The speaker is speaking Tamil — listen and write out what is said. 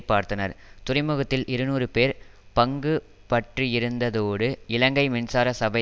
பார்த்தனர் துறைமுகத்தில் இருநூறு பேர் பங்கு பற்றியிருந்ததோடு இலங்கை மின்சார சபை